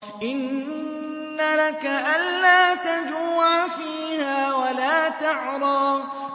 إِنَّ لَكَ أَلَّا تَجُوعَ فِيهَا وَلَا تَعْرَىٰ